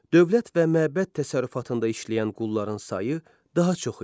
Dövlət və məbəd təsərrüfatında işləyən qulların sayı daha çox idi.